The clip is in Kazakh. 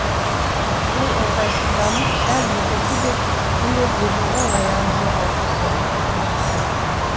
ол ыңғайсызданып сәл мүдірді де міне деді оң аяғын жоғары көтеріп